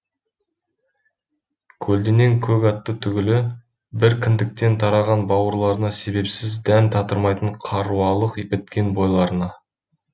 көлденең көк атты түгілі бір кіндіктен тараған бауырларына себепсіз дәм татырмайтын қаруалық біткен бойларына